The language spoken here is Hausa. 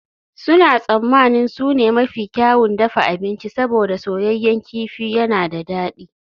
Suna tsammanin su ne mafi kyawun dafa abinci saboda soyayyen kifi yana da dadi